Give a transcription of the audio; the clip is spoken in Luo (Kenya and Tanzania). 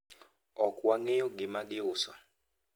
ok wang'eyo gima giuso